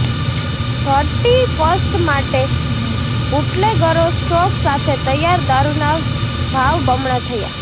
thirty first માટે બુટલેગરો stock સાથે તૈયારઃ દારૂના ભાવ બમણા થયા